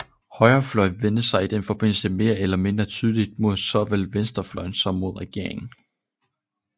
Højrefløjen vendte sig i den forbindelse mere eller mindre tydeligt mod såvel venstrefløjen som mod regeringen